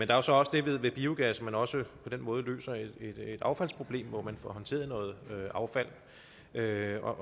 der er så det ved biogas at man også på den måde løser et affaldsproblem hvor man får håndteret noget affald derfor